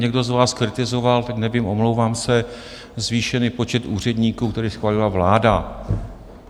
Někdo z vás kritizoval - teď nevím, omlouvám se - zvýšený počet úředníků, který schválila vláda.